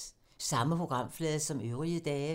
Samme programflade som øvrige dage